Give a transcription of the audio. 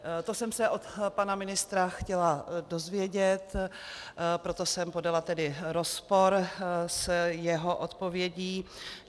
To jsem se od pana ministra chtěla dozvědět, proto jsem podala tedy rozpor s jeho odpovědí.